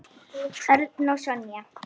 Örn og Sonja.